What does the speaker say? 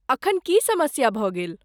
एखन की समस्या भऽ गेल?